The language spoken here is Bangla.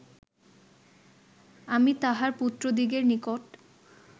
আমি তাঁহার পুত্রদিগের নিকট